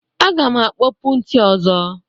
Aga m akpopu ntị ọzọ.